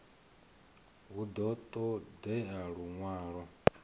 hu ḓo ṱo ḓea luṅwalo